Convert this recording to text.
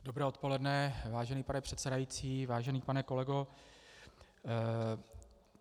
Dobré odpoledne, vážený pane předsedající, vážený pane kolego.